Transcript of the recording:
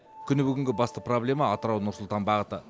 күні бүгінгі басты проблема атырау нұр сұлтан бағыты